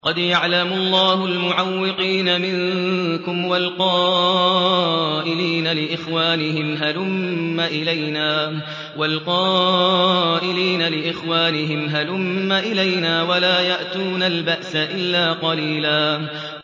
۞ قَدْ يَعْلَمُ اللَّهُ الْمُعَوِّقِينَ مِنكُمْ وَالْقَائِلِينَ لِإِخْوَانِهِمْ هَلُمَّ إِلَيْنَا ۖ وَلَا يَأْتُونَ الْبَأْسَ إِلَّا قَلِيلًا